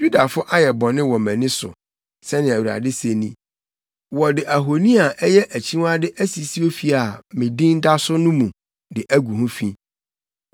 “ ‘Yudafo ayɛ bɔne wɔ mʼani so, sɛnea Awurade se ni. Wɔde ahoni a, ɛyɛ akyiwade asisi ofi a me Din da so mu de agu ho fi.